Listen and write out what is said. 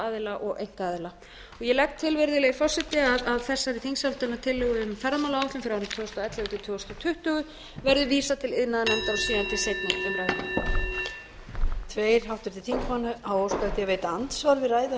aðila og einkaaðila ég legg til virðulegi forseti að þessari þingsályktunartillögu um ferðamálaáætlun fyrir árin tvö þúsund og ellefu til tvö þúsund tuttugu verði vísað til iðnaðarnefndar og síðan til seinni umræðu